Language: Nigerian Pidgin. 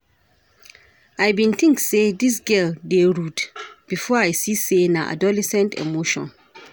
I bin tink sey dis girl dey rude before I see sey na adolescent emotion.